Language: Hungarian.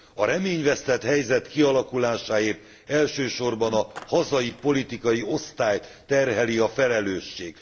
A reményvesztett helyzet kialakulásáért elsősorban a hazai politikai osztályt terheli a felelősség.